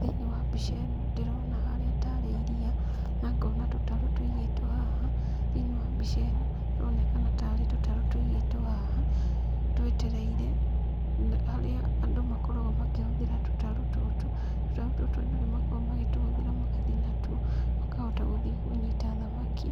Thĩinĩ wa mbica ĩno, ndĩrona harĩa tarĩ iria, na ngona tũtarũ tũigĩtwo haha, thĩinĩ wa mbica ĩno haronekana taarĩ tũtarũ tũigĩtwo haha twetereire harĩa andũ makoragwo makĩhũthĩra tũtarũ tũtũ, tũtarũ tũtũ andũ nĩ makoragwo magĩtũhũthĩra magathiĩ natuo, makahota gũthiĩ kũnyita thamaki,